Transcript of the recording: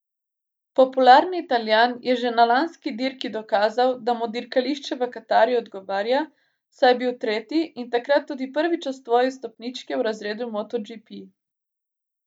Popularni Italijan je že na lanski dirki dokazal, da mu dirkališče v Katarju odgovarja, saj je bil tretji in takrat tudi prvič osvojil stopničke v razredu motoGP.